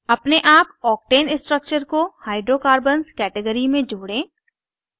अपने आप octane structure को hydrocarbons category में जोड़ें